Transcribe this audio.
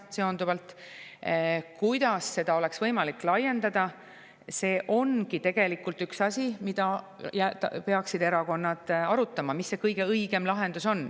See, kuidas seda oleks võimalik laiendada, ongi tegelikult üks asi, mida erakonnad peaksid arutama, see kõige õigem lahendus.